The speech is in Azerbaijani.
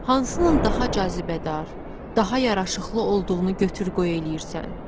Hansının daha cazibədar, daha yaraşıqlı olduğunu götür-qoy eləyirsən.